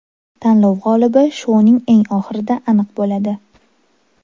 Tanlov g‘olibi shouning eng oxirida aniq bo‘ladi.